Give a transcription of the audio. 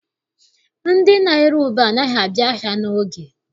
Ndị na-ere ube anaghị abịa ahịa n'oge.